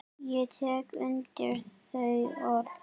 Ég tek undir þau orð.